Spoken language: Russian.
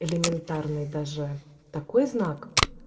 элементарно даже такой знак